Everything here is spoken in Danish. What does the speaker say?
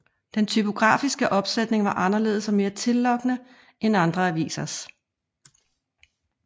Den typografiske opsætning var anderledes og mere tillokkende end andre avisers